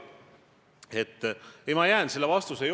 Tegelikult on ju täpselt vastupidi.